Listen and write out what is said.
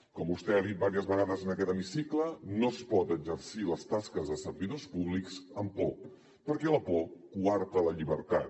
com vostè ha dit diverses vegades en aquest hemicicle no es poden exercir les tasques dels servidors públics amb por perquè la por coarta la llibertat